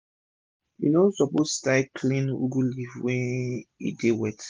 u no suppose tie clean ugu leaf when e dey wet